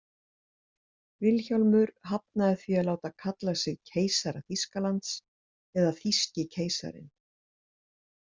Vilhjálmur hafnaði því að láta kalla sig „keisara Þýskalands“ eða „þýski keisarinn“.